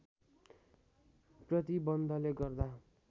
प्रतिबन्धले गर्दा